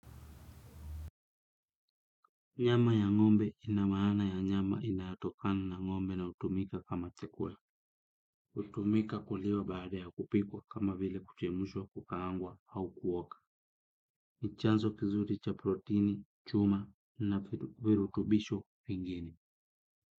Nyama ya ngombe ina maana ya nyama inaatokani na ngombe na utumika kama chakula. Utumika kuliwa baada ya kupikwa kama vile kuchemushwa kukaangwa au kuoka. Ni chanzo kizuri cha protini, chuma na virutubisho vingine.